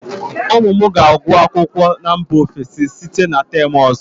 ụmụ m ga-agụ akwụkwọ na mba ofesi site na term ọzọ